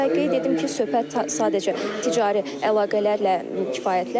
Və qeyd edim ki, söhbət sadəcə ticari əlaqələrlə kifayətlənmir.